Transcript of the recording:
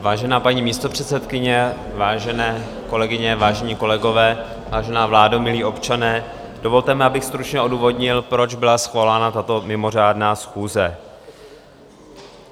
Vážená paní místopředsedkyně, vážené kolegyně, vážení kolegové, vážená vládo, milí občané, dovolte mi, abych stručně odůvodnil, proč byla svolána tato mimořádná schůze.